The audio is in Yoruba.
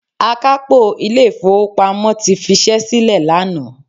Akápò ilé ìfowópamọ́ ti fi ṣẹ́ sílè lánàá.